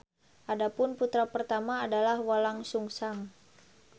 Adapun putra pertama adalah Walangsungsang.